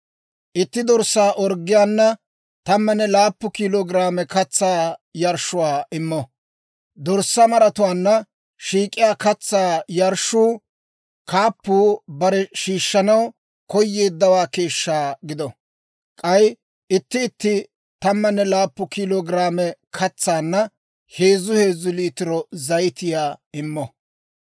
Itti dorssaa orggiyaana 17 kilo giraame katsaa yarshshuwaa immo. Dorssaa maratuwaanna shiik'iyaa katsaa yarshshuu kaappuu barew shiishshanaw koyeeddawaa keeshshaa gido. K'ay itti itti 17 kilo giraame katsanna heezzu heezzu liitiro zayitiyaa immo.